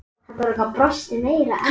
Takk fyrir síðast?